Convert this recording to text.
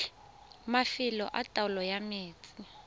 mafelo a taolo ya metsi